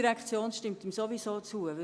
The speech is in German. Die ERZ stimmt ihm sowieso zu.